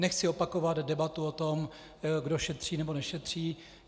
Nechci opakovat debatu o tom, kdo šetří, nebo nešetří.